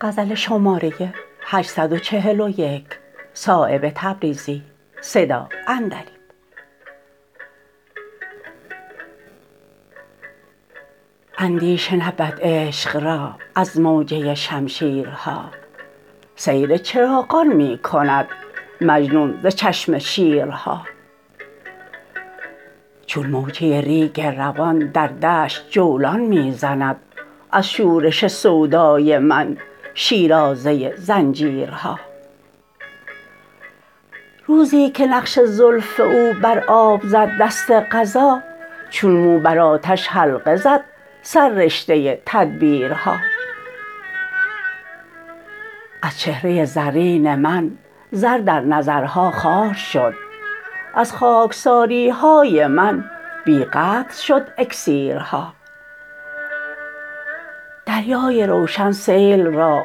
اندیشه نبود عشق را از موجه شمشیرها سیر چراغان می کند مجنون ز چشم شیرها چون موجه ریگ روان در دشت جولان می زند از شورش سودای من شیرازه زنجیرها روزی که نقش زلف او بر آب زد دست قضا چون مو بر آتش حلقه زد سررشته تدبیرها از چهره زرین من زر در نظرها خوار شد از خارکساریهای من بی قدر شد اکسیرها دریای روشن سیل را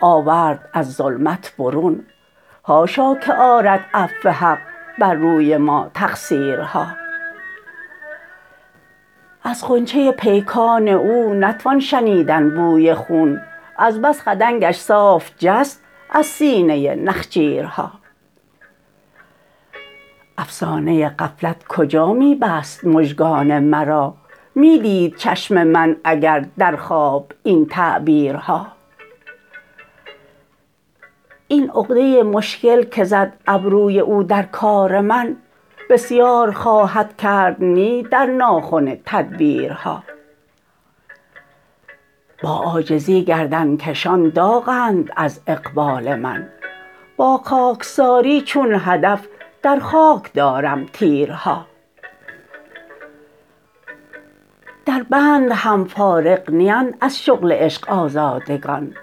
آورد از ظلمت برون حاشا که آرد عفو حق بر روی ما تقصیرها از غنچه پیکان او نتوان شنیدن بوی خون از بس خدنگش صاف جست از سینه نخجیرها افسانه غفلت کجا می بست مژگان مرا می دید چشم من اگر در خواب این تعبیرها این عقده مشکل که زد ابروی او در کار من بسیار خواهد کرد نی در ناخن تدبیرها با عاجزی گردنکشان داغند از اقبال من با خاکساری چون هدف در خاک دارم تیرها در بند هم فارغ نیند از شغل عشق آزادگان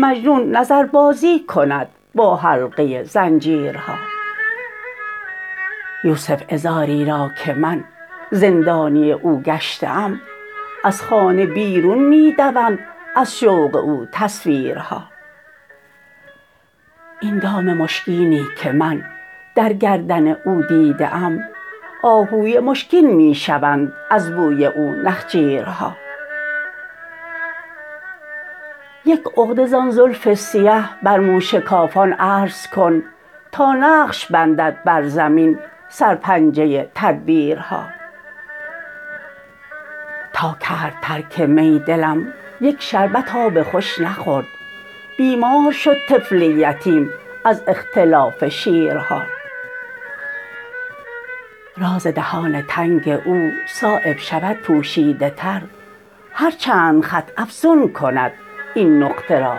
مجنون نظر بازی کند با حلقه زنجیرها یوسف عذاری را که من زندانی او گشته ام از خانه بیرون می دوند از شوق او تصویرها این دام مشکینی که من در گردن او دیده ام آهوی مشکین می شوند از بوی او نخجیرها یک عقده زان زلف سیه بر مو شکافان عرض کن تا نقش بندد بر زمین سرپنجه تدبیرها تا کرد ترک می دلم یک شربت آب خوش نخورد بیمار شد طفل یتیم از اختلاف شیرها راز دهان تنگ او صایب شود پوشیده تر هر چند خط افزون کند این نقطه را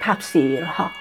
تفسیرها